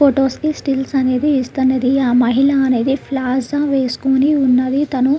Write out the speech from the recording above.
Photos కి stills అనేది ఇస్తానని ఆ మహిళ అనేది ప్లాజా వేసుకొని ఉన్నది. తను --